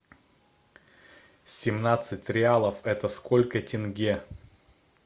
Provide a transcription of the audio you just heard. семнадцать реалов это сколько тенге